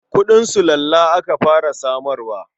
Kuɗin sulalla aka fara samarwa.